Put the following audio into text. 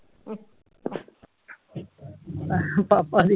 ਪਾਪਾ ਦੀ